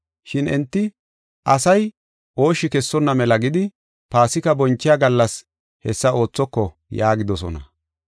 Shin enti, “Asay ooshshi kessonna mela gidi, Paasika bonchiya gallas hessa oothoko” yaagidosona.